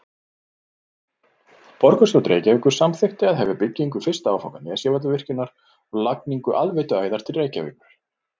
Borgarstjórn Reykjavíkur samþykkti að hefja byggingu fyrsta áfanga Nesjavallavirkjunar og lagningu aðveituæðar til Reykjavíkur.